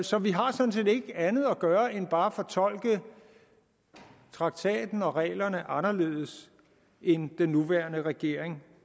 så vi har sådan set ikke andet at gøre end bare at fortolke traktaten og reglerne anderledes end den nuværende regering